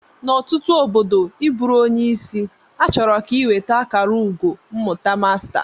N'ọtụtụ obodo ị bụrụ onye isi, achọrọ ka ị nweta akara ugo mmụta masta